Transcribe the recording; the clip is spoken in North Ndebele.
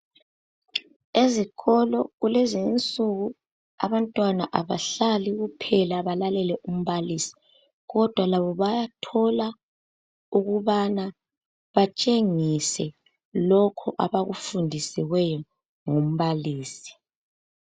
Ezikolo kulezi nsuku abantwana abahlali kuphela balalele umbalisi kodwa labo bayathola ukubana batshengise lokhu abakufundisiweyo ngumbalisi